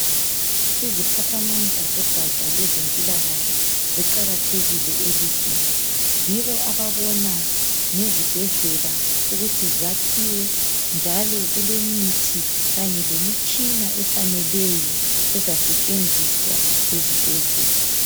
Iziphathamandla zogatsha lwezempilakahle ziqakathekile elizweni , yibo ababona ngezibhedlela ukuthi zakhiwe njalo kulemithi kanye lemitshina efaneleyo ezasetshenziswa ezibhedlela